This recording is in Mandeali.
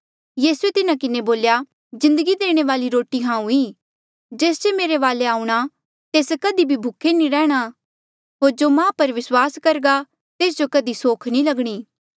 यीसूए तिन्हा किन्हें बोल्या जिन्दगी देणे वाली रोटी हांऊँ ईं जेस जे मेरे वाले आऊंणा तेस कधी भी भूखे नी रैंह्णां होर जो माह पर विस्वास करघा तेस जो कधी सोख नी लगणी